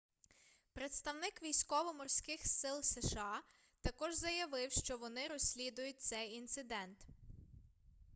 представник військово-морских сил сша також заявив что вони розслідують цей інцидент